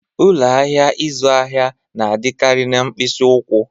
Ụlọ ahịa ịzụ ahịa na-adịkarị na mkpịsị ụkwụ